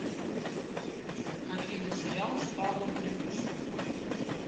афина сериал с павлом прилучным